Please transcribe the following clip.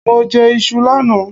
Mo jẹ iṣu lánàá